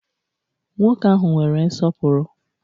Nwoke ahụ nwere nsọpụrụ.